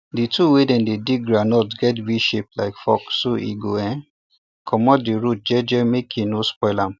the tool wey dem take dig groundnut get vshape like fork so e go um comot the root jeje make e no spoil am